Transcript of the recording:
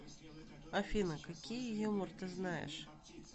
афина какие юмор ты знаешь